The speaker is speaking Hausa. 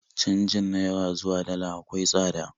Canjin Naira zuwa Dala akwai tsada